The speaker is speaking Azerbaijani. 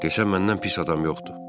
Desən məndən pis adam yoxdur.